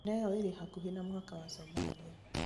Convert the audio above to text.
Njĩra ĩyo ĩrĩ hakuhĩ na mũhaka wa somalia.